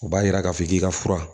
O b'a yira k'a fɔ k'i ka fura